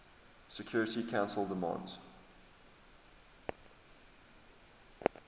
security council demands